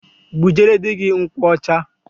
Bujere di gi nkwụ ọcha.